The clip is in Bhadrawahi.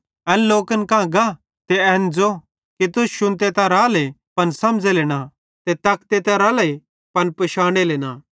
एन लोकन कां गा ते एन ज़ो कि तुस शुन्ते त राले पन समझ़ेले न ते तकते त राले पन पिशानेले न